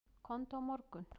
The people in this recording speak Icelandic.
Komdu á morgun.